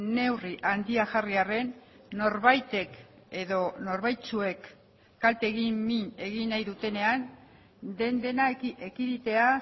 neurri handiak jarri arren norbaitek edo norbaitzuek kalte egin min egin nahi dutenean den dena ekiditea